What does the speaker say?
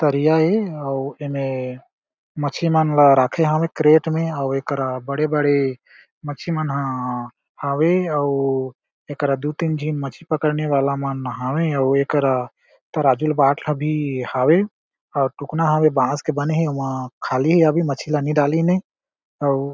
तरिया हे एमे मच्छी मनला रखे हावे कैरेट में अउ एकरा बड़े-बड़े मच्छी मन ह हावे अउ एकरा दो तीन झिन मछली पकड़ने वाला मन हावे अउ एकरा तराजू ले बाट ला भी हावे अउ टुकना हवे बांस के बने हे ओहा खाली हे अभी मछली ला नी डालीन हे अउ--